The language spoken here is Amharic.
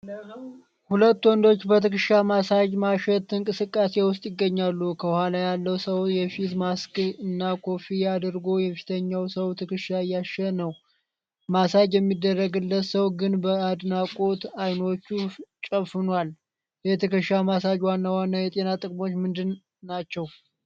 ሁለት ወንዶች በትከሻ ማሳጅ (ማሸት) እንቅስቃሴ ውስጥ ይገኛሉ። ከኋላ ያለው ሰው የፊት ማስክ እና ኮፍያ አድርጎ የፊተኛውን ሰው ትከሻ እያሻሸ ነው። ማሳጅ የሚደረግለት ሰው ግን በአድናቆት አይኖቹን ጨፍኗል። የትከሻ ማሳጅ ዋና ዋና የጤና ጥቅሞች ምንድናቸው?